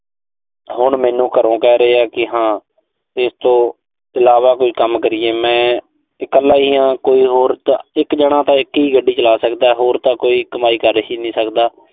ਹੁਣ ਮੈਨੂੰ ਘਰੋਂ ਕਹਿ ਰਹੇ ਆ ਕਿ ਹਾਂ, ਇਸ ਤੋਂ ਇਲਾਵਾ ਕੋਈ ਕੰਮ ਕਰੀਏ। ਮੈਂ ਇਕੱਲਾ ਹੀ ਆਂ, ਕੋਈ ਹੋ ਤਾਂ ਅਹ ਇੱਕ ਜਾਣਾ ਤਾਂ ਇੱਕ ਹੀ ਗੱਡੀ ਚਲਾ ਸਕਦਾ। ਹੋਰ ਤਾਂ ਕੋਈ ਕਮਾਈ ਕਰ ਹੀ ਨੀਂ ਸਕਦਾ।